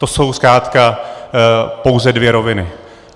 To jsou zkrátka pouze dvě roviny.